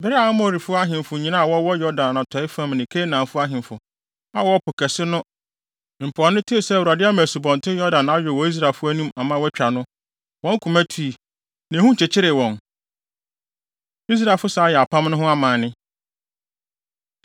Bere a Amorifo ahemfo nyinaa a wɔwɔ Yordan atɔe fam ne Kanaanfo ahemfo a wɔwɔ Po Kɛse no mpoano tee sɛ Awurade ama Asubɔnten Yordan ayow wɔ Israelfo anim ama wɔatwa no, wɔn koma tui, na ehu kyekyeree wɔn. Israelfo San Yɛ Apam No Ho Amanne